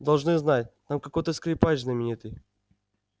должны знать там какой то скрипач знаменитый